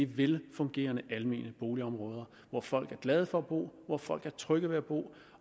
velfungerende almene boligområder hvor folk er glade for at bo hvor folk er trygge ved at bo